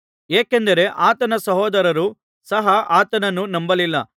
ಏಕೆಂದರೆ ಆತನ ಸಹೋದರರು ಸಹ ಆತನನ್ನು ನಂಬಲಿಲ್ಲ